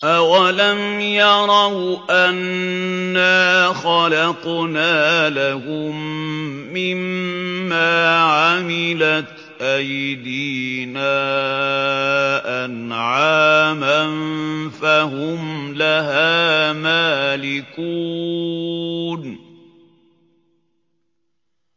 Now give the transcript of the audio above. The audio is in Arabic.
أَوَلَمْ يَرَوْا أَنَّا خَلَقْنَا لَهُم مِّمَّا عَمِلَتْ أَيْدِينَا أَنْعَامًا فَهُمْ لَهَا مَالِكُونَ